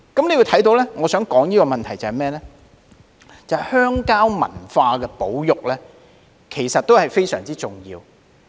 我提出這個問題是想指出保育鄉郊文化亦非常重要。